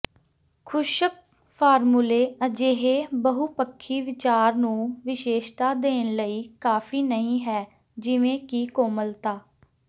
ਖੁਸ਼ਕ ਫਾਰਮੂਲੇ ਅਜਿਹੇ ਬਹੁਪੱਖੀ ਵਿਚਾਰ ਨੂੰ ਵਿਸ਼ੇਸ਼ਤਾ ਦੇਣ ਲਈ ਕਾਫੀ ਨਹੀਂ ਹੈ ਜਿਵੇਂ ਕਿ ਕੋਮਲਤਾ